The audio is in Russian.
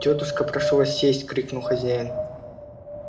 тётушка прошу вас сесть крикнул хозяин